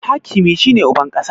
Hakimi shi ne uban ƙasa